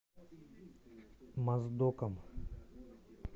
моздоком